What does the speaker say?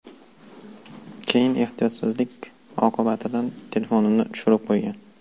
Keyin ehtiyotsizlik oqibatidan telefonini tushirib qo‘ygan.